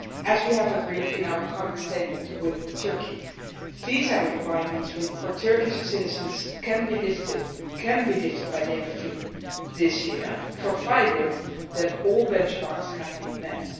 As we have agreed in our common statement with Turkey, visa requirements for Turkish citizens can be lifted by the end of June this year provided that all benchmarks have been met.